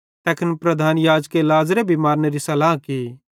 तैखन प्रधान याजके लाज़र भी मारनेरी सलाह की